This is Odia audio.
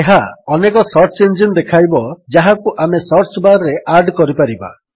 ଏହା ଅନେକ ସର୍ଚ୍ଚ ଇଞ୍ଜିନ୍ ଦେଖାଇବ ଯାହାକୁ ଆମେ ସର୍ଚ୍ଚ ବାର୍ ରେ ଆଡ୍ କରିପାରିବା